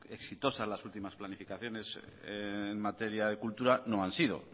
exitosas las últimas planificaciones en materia de cultura no han sido